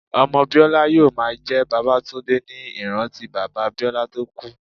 Ọmọ Biola yóò máa jẹ́ Babatunde ní ìrántí bàbá Biola tó kú.